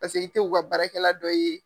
Paseke i te u ka baara kɛla dɔ ye.